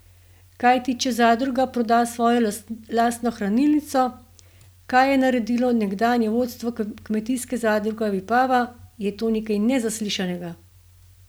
Kajti če zadruga proda svojo lastno hranilnico, kar je naredilo nekdanje vodstvo Kmetijske zadruge Vipava, je to nekaj nezaslišanega!